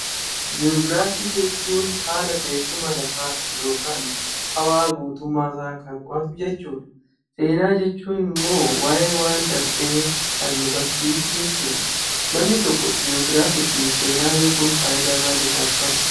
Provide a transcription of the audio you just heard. Jiyoogiraafii jechuun haala teessuma lafaa yookaan hawaa guutummaa isaa kan qo'atu jechuu dha. Seenaa jechuun immoo waayee waan darbee kan nu barsiisu jechuu dha. Namni tokko jiyoogiraafii fi Seenaa beekuun faayidaa maalii isaaf qaba?